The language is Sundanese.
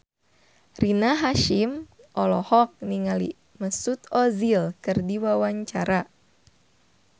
Rina Hasyim olohok ningali Mesut Ozil keur diwawancara